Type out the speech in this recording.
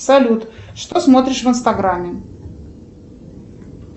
салют что смотришь в инстаграме